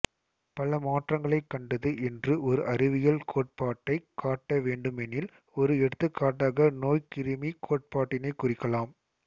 பல மாற்றங்களை கண்டது என்று ஒரு அறிவியல் கோட்பாட்டைக் காட்டவேண்டுமெனில் ஒரு எடுத்துக்காட்டாக நோய்க் கிருமி கோட்பாட்டினை குறிக்கலாம்